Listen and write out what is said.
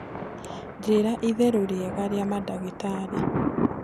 njĩĩra ĩtherũ riega ria madagitari